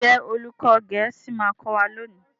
Njé olùkó gèésì ma kò wá lóni?